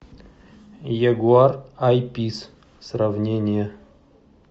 ягуар ай пис сравнение